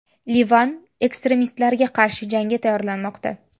Livan ekstremistlarga qarshi jangga tayyorlanmoqda.